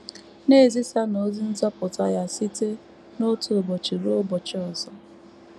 “ Na - ezisanụ ozi nzọpụta Ya site n’otu ụbọchị ruo ụbọchị ọzọ.